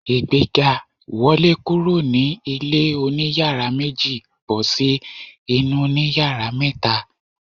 Ìgbéga! Wọlé kúrò ní ilé oní yàrá méjì bọ́ sí inú òní yàrá mẹ́ta.